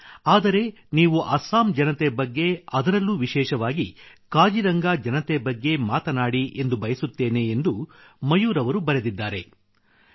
ಆದರೆ ನೀವು ಅಸ್ಸಾಂ ಜನತೆ ಬಗ್ಗೆ ಅದರಲ್ಲೂ ವಿಶೇಷವಾಗಿ ಕಾಜಿರಂಗಾ ಜನತೆ ಬಗ್ಗೆ ಮಾತನಾಡಿ ಎಂದು ಬಯಸುತ್ತೇನೆ ಎಂದು ಮಯೂರ್ ಅವರು ಬರೆದಿದ್ದಾರೆ